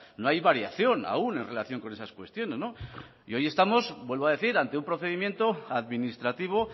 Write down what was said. no hay variación aún en relación con esas cuestiones y hoy estamos vuelvo a decir ante un procedimiento administrativo